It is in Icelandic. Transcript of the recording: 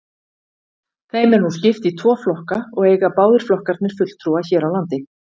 Þeim er nú skipt í tvo flokka og eiga báðir flokkarnir fulltrúa hér á landi.